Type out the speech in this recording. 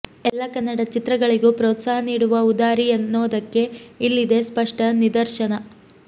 ಎಲ್ಲಾ ಕನ್ನಡ ಚಿತ್ರಗಳಿಗೂ ಪ್ರೋತ್ಸಾಹ ನೀಡುವ ಉದಾರಿ ಅನ್ನೋದಕ್ಕೆ ಇಲ್ಲಿದೆ ಸ್ಪಷ್ಟ ನಿದರ್ಶನ